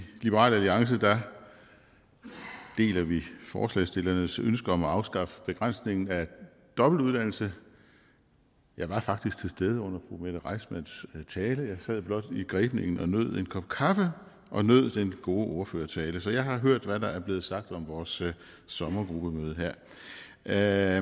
i liberal alliance deler vi forslagsstillernes ønske om at afskaffe begrænsningen af dobbeltuddannelse jeg var faktisk til stede under fru mette reissmanns tale jeg sad blot i grebningen og nød en kop kaffe og nød den gode ordførertale så jeg har hørt hvad der er blevet sagt her om vores sommergruppemøde det er